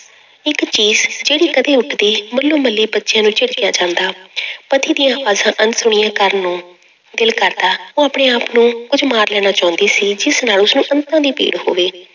ਇੱਕ ਚੀਸ ਜਿਹੜੀ ਕਦੇ ਉੱਠਦੀ ਮੱਲੋ ਮੱਲੀ ਬੱਚਿਆਂ ਨੂੰ ਝਿੜਕਿਆ ਜਾਂਦਾ ਪਤੀਆਂ ਦੀਆਂ ਆਵਾਜ਼ਾਂ ਅਣਸੁਣੀਆਂ ਕਰਨ ਨੂੰ ਦਿਲ ਕਰਦਾ, ਉਹ ਆਪਣੇ ਆਪ ਨੂੰ ਕੁੱਝ ਮਾਰ ਲੈਣਾ ਚਾਹੁੰਦੀ ਸੀ ਜਿਸ ਨਾਲ ਉਸਨੂੰ ਅੰਤਾਂ ਦੀ ਪੀੜ ਹੋਵੇ।